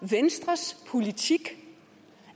venstres politik